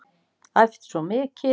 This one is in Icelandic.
Æft svo mikið.